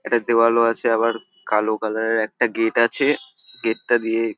একটা দেওয়ালও আছে আবার কালো কালার -এর একটা গেট আছে গেট - টা দিয়ে--